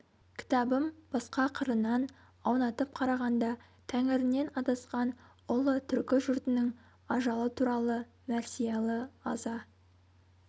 кітабым басқа қырынан аунатып қарағанда тәңірінен адасқан ұлы түркі жұртының ажалы туралы мәрсиялы аза